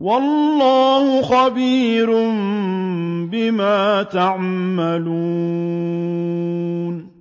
وَاللَّهُ خَبِيرٌ بِمَا تَعْمَلُونَ